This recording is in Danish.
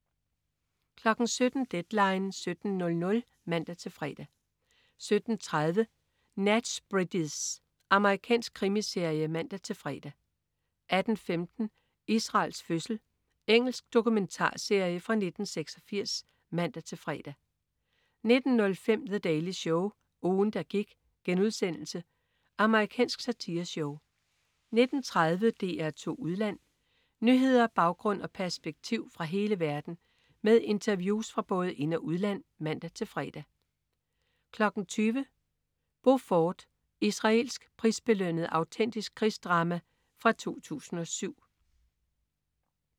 17.00 Deadline 17.00 (man-fre) 17.30 Nash Bridges. Amerikansk krimiserie (man-fre) 18.15 Israels fødsel. Israelsk dokumentarserie fra 1986 (man-fre) 19.05 The Daily Show. Ugen, der gik.* Amerikansk satireshow 19.30 DR2 Udland. Nyheder, baggrund og perspektiv fra hele verden med interviews fra både ind- og udland (man-fre) 20.00 Beaufort. Israelsk prisbelønnet autentisk krigsdrama fra 2007